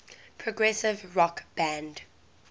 progressive rock band